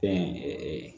Fɛn